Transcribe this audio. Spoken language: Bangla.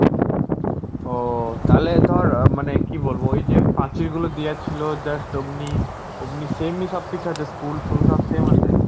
ও তাহলে ধরো মানে কি বলবো, ওই যে পাঁচিল গুলো দেওয়া ছিল just ওমনি ওমনি same ই সবকিছু আছে, school ফুল সব same আছে?